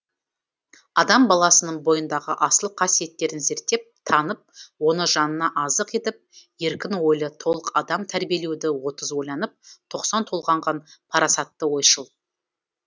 адам баласының бойындағы асыл қасиеттерін зерттеп танып оны жанына азық етіп еркін ойлы толық адам тәрбиелеуді отыз ойланып тоқсан толғанған парасатты ойшыл